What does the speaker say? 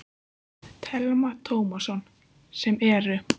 Telma Tómasson: Sem eru?